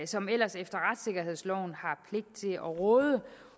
som ellers efter retssikkerhedsloven har pligt til at råde